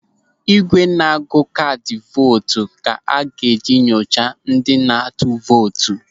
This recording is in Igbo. Ị́gwè na-agụ kaadị vootu ka a ga-eji enyocha ndị na-atụ vootu.